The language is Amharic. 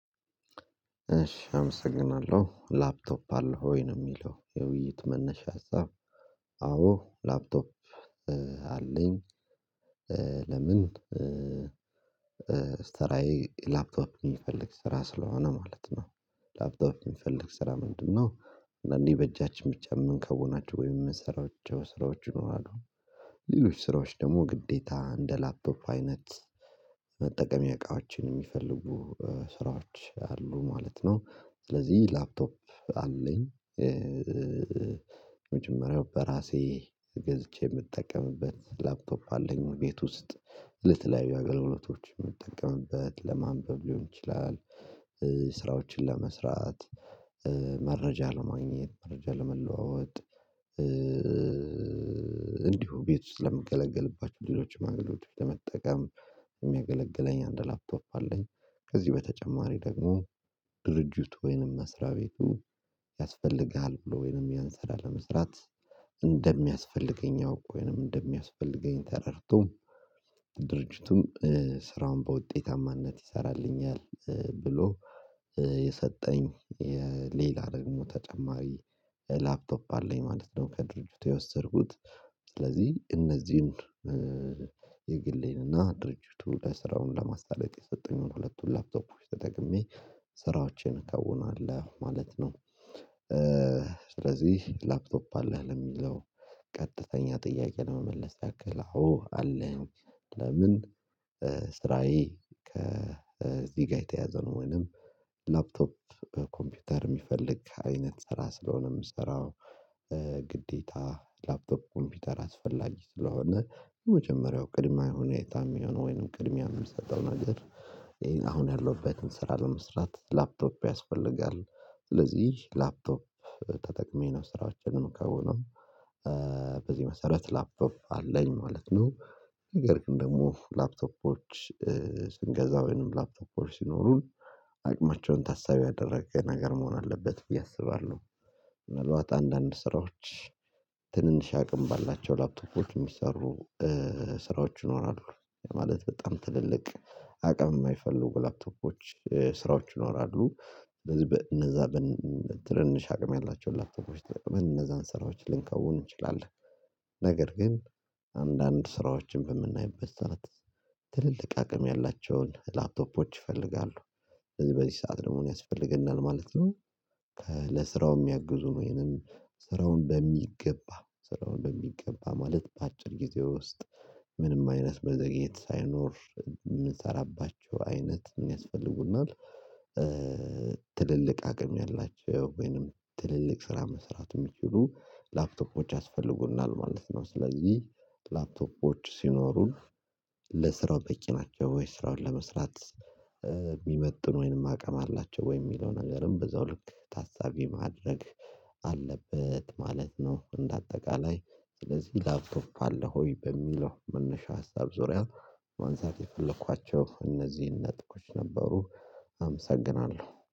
እሺ አመሰግናለሁ ላፕቶፕ አለው ወይ ነው የሚለው የውይይት መነሻ ሀሳብ። አዎ ላፕቶፕ አለኝ ለምን? ስራየ ላፕቶፕ የሚፈልግ ስራ ስለሆነ ማለት ነው። ላፕቶፕ የሚፈልግ ስራ ምንድነው? አንዳንዴ በእጃችን ብቻ የምንከውናቸው ወይም የምንሰራው ስራዎች ሊኖሩ ይችላሉ። ሌሎች ስራዎች ደግሞ ግዴታ እንደ ላፍቶፕ አይነት። መጠቀሚያ እቃወችን የሚፈልጉ ስራዎች አሉ ማለትነው ስለዚህ ላፕቶፕ አለኝ። መጀመሪያው በራሴ ገዝቼ የምጠቀምበት ላፕኮፕ አለኝ ቤት ውስጥ ለተለያዩ አገልግሎቶች የምጠቀምበት ለማንበብ ሊሆን ይችላል። ስራዎችን ለመስራት መረጃ ለማግኘት መረጃ ለመለዋወጥ። እንዲሁ ቤት ውስጥ ለምገለገልባቸው ሌሎች አገልግሎቶች ለመጠቀም የሚያገለግለኝ አንድ ላፕቶፕ አለኝ። ከዚህ በተጨማሪ ደግሞ ድርጅቱ ወይንም መስሪያ ቤቱ ያስፈልጋል ብሎ ወይንም ያንሰራ ለመስራት እንደሚያስፈልገኝ አውቆ ወይንም እንደሚያስፈልገኝ ተረድቶ። ድርጅቱም ስራውን በውጤታማነት ይሰራልኛል ብሎ የሰጠኝ ሌላ ደግሞ ተጨማሪ ላፕቶፕ አለኝ ማለት ነው ከድርጅቱ የወሰድኩት። ስለዚህ እነዚህን የግሌን ድርጅቱ ለስራውን ለማሳለጥ የሰጠኝን ሁለቱን ላፕቶፖች ተጠቅሜ ስራዎቼን እከውናለሁ ማለት ነው። ስለዚህ ላፕቶፕ አለህ ለሚለው ቀጥተኛ ጥያቄ ለመመለስ ያክል አዎ አለኝ ለምን? ስራዬ ከዚህ ጋር የተያዘ ነው ወይንም ላፕቶፕ ኮምፒውተር የሚፈልግ አይነት ስራ ስለሆነ የምሰራው። ግዴታ ላፕቶፕ ኮምፒውተር አስፈላጊ ስለሆነ የመጀመሪያው ቅድመ ሁኔታ የሚሆነው ወይንም ቅድሚያ የምንሰጠው ነገር። አሁን ያለሁበትን ስራ ለመስራት ላፕቶፕ ያስፈልጋል። ስለዚህ ላፕቶፕ ተጠቅሜ ነው ስራዎችን ነው ከሆነም በዚህ መሰረት ላፕቶፕ አለኝ ማለት ነው። ነገር ግን ደግሞ ላፕቶፖች ስንገዛ ወይንም ላፕቶፕ ሲኖሩን አቅማቸውን ታሳቢ ያደረገ ነገር መሆን አለበት ብዬ አስባለሁ። ምናልባት አንዳንድ ስራዎች ትንንሽ አቅም ባላቸው ላፕቶፎች የሚሰሩ ስራዎች ይኖራሉ። ማለት በጣም ትልልቅ አቅም የማይፈልጉ ላፕቶፖች ስራዎች ይኖራሉ። ስለዚህ እነዛ በትርንሽ አቅም ያላቸውን ላፕቶፎች ምን እነዛን ስራዎች ልንከውን እንችላለን። ነገር ግን አንዳንድ ስራዎችን በምናይበት ስዓት ትልልቅ አቅም ያላቸውን ላፕቶፖች ይፈልጋሉ። በዚህ በዚህ ሰዓት ለመሆን ያስፈልግናል ማለት ነው። ለስራው የሚያግዙን ወይም ስራውን በሚገባ ስራውን በሚገባ ማለት በአጭር ጊዜ ውስጥ ምንም አይነት መዘግየት ሳይኖር የምንሰራባቸው አይነት ያስፈልጉናል። ትልልቅ አቅም ያላቸው ወይንም ትልልቅ ስራ መስራት የሚችሉ ላፕቶፖች ያስፈልጉናል ማለት ነው። ስለዚህ ላፕቶፖች ሲኖሩን ለስራው በቂ ናቸው ወይ ስራውን ለመስራት? የሚመጥን ወይንም አቅም አላቸው ወይ? የሚለውን ነገርም በዛው ልክ ታሳቢ ማድረግ አለበት ማለት ነው። እንደ አጠቃላይ ስለዚህ ላፕቶፕ አለህ ወይ? በሚለው መነሻ ሀሳብ ዙሪያ ማንሳት የፈለኳቸው እነዚህን ነጥቦች ነበሩ። አመሰግናለሁ